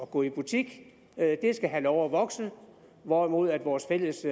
gå i butik skal have lov at vokse hvorimod at vores fælles